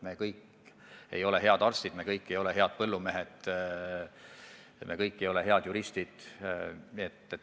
Me kõik ei ole head arstid, me kõik ei ole head põllumehed, me kõik ei ole head juristid.